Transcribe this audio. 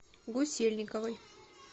гусельниковой